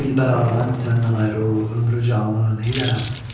Dilbəra mən səndən ayrı ömrü zindanı neylərəm.